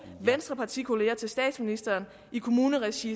venstrepartikollegaer til statsministeren i kommunalt regi